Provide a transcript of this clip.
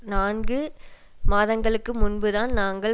நான்கு மாதங்களுக்கு முன்பு தான் நாங்கள்